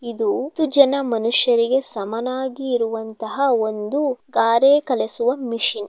ಇದು ಹತ್ತು ಜನ ಮನುಷ್ಯರಿಗೆ ಸಮನಾಗಿ ಇರುವಂತಹ ಒಂದು ಗಾರೆ ಕಲೆಸುವ ಮಿಷನ್ .